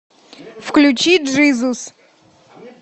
включи джизус